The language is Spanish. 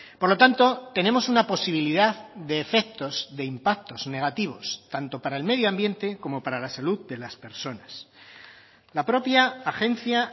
por lo tanto tenemos una posibilidad de efectos de impactos negativos tanto para el medio ambiente como para la salud de las personas la propia agencia